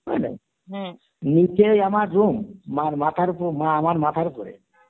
বুজলে, নিচেই আমার room মার মাথার ওপর, মা আমার মাত্র ওপরে